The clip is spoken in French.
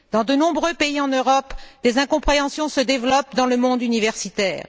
Dans de nombreux pays en Europe, des incompréhensions se développent dans le monde universitaire.